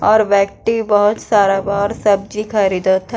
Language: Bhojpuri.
और व्यक्ति बहुत सारा बा आर सब्जी ख़रीदत ह।